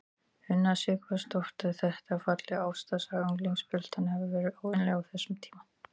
Una Sighvatsdóttir: Þetta er falleg ástarsaga unglingspilta, en hefur verið óvenjulegt á þessum tíma?